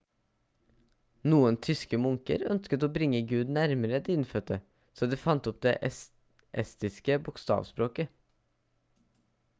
noen tyske munker ønsket å bringe gud nærmere de innfødte så de fant opp det estiske bokstavspråket